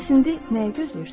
Bəs indi nəyi gözləyirsiniz?